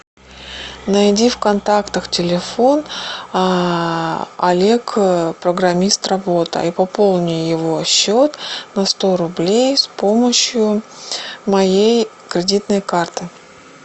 найди в контактах телефон олег программист работа и пополни его счет на сто рублей с помощью моей кредитной карты